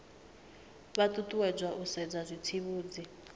vha ṱuṱuwedzwa u sedza zwitsivhudzi